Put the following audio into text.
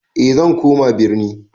E zan koma birni